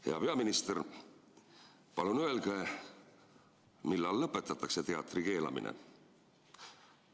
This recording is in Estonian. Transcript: Hea peaminister, palun öelge, millal lõpetatakse teatri keelamine.